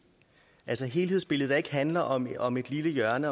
altså et helhedsbillede der ikke handler om et om et lille hjørne